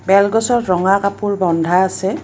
বেল গছত ৰঙা কাপোৰ বন্ধা আছে |